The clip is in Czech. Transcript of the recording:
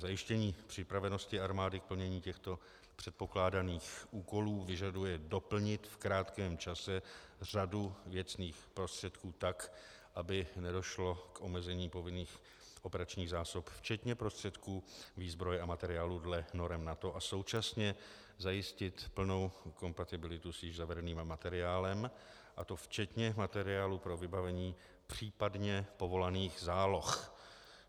Zajištění připravenosti armády k plnění těchto předpokládaných úkolů vyžaduje doplnit v krátkém čase řadu věcných prostředků tak, aby nedošlo k omezení povinných operačních zásob včetně prostředků výzbroje a materiálu podle norem NATO, a současně zajistit plnou kompatibilitu s již zavedeným materiálem, a to včetně materiálu pro vybavení případně povolaných záloh.